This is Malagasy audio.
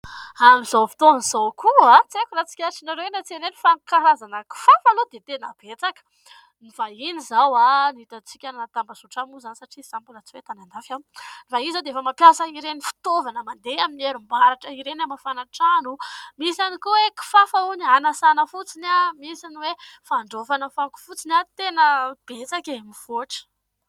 Amin'izao fotoana izao koa, tsy aiko na tsikaritrareo eny an-tsena eny fa ny karazana kifafa aloha dia tena betsaka. Ny vahiny izao ny hitantsika any anaty tambazotra any moa izany satria izaho mbola tsy hoe tany an-dafy ! Ny vahiny izao dia mampiasa ireny fitaovana mandeha amin'ny herinaratra ireny hamafana trano, misy ihany koa kifafa hono hanasana fotsiny, misy ny hoe handraofana fako fotsiny. Tena betsaka e ! Mivoatra !